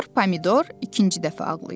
Sinyor Pomidor ikinci dəfə ağlayır.